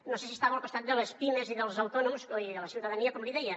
no sabia si estava al costat de les pimes i dels autònoms i de la ciutadania com li deia